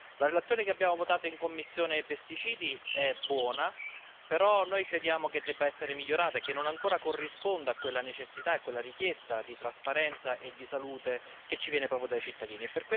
La relazione che abbiamo votato in commissione PEST è buona, però noi crediamo che debba essere migliorata e che non corrisponda ancora a quella necessità e a quella richiesta di trasparenza e di salute che viene proprio dai cittadini.